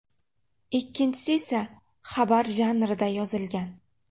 Ikkinchisi esa xabar janrida yozilgan.